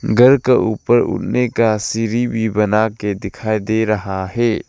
घर का ऊपर का सीढ़ी भी बना के दिखाई दे रहा है।